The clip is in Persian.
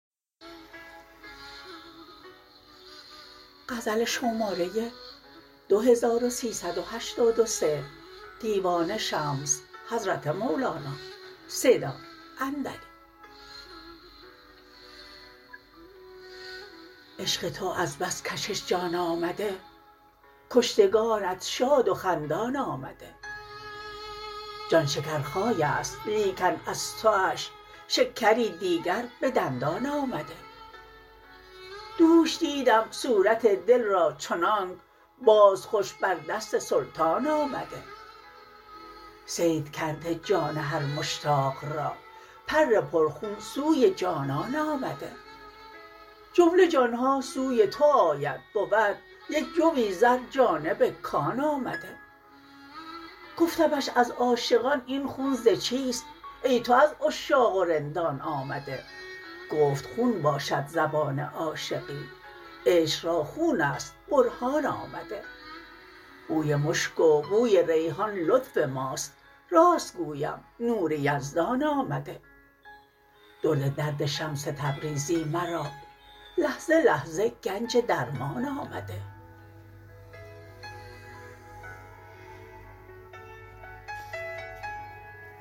عشق تو از بس کشش جان آمده کشتگانت شاد و خندان آمده جان شکرخای است لیکن از توش شکری دیگر به دندان آمده دوش دیدم صورت دل را چنانک باز خوش بر دست سلطان آمده صید کرده جان هر مشتاق را پر پرخون سوی جانان آمده جمله جان ها سوی تو آید بود یک جوی زر جانب کان آمده گفتمش از عاشقان این خون ز چیست ای تو از عشاق و رندان آمده گفت خون باشد زبان عاشقی عشق را خون است برهان آمده بوی مشک و بوی ریحان لطف ماست راست گویم نور یزدان آمده درد درد شمس تبریزی مرا لحظه لحظه گنج درمان آمده